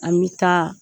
An bɛ taa